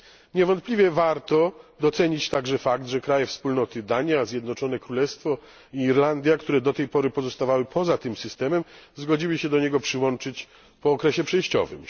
Niewątpliwie warto docenić także fakt, że kraje Wspólnoty Dania, Zjednoczone Królestwo i Irlandia, które do tej pory pozostawały poza tym systemem, zgodziły się do niego przyłączyć po okresie przejściowym.